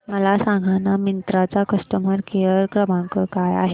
मला सांगाना मिंत्रा चा कस्टमर केअर क्रमांक काय आहे